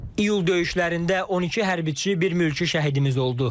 İyul döyüşlərində 12 hərbiçi, bir mülki şəhidimiz oldu.